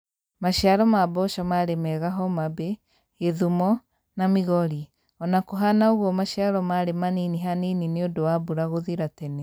Maciaro ma mboco marĩ mega Homabay, Kisumu, na Migori, ona kũhana ũguo maciaro marĩ manini hanini nĩundũ wa mbura gũthira tene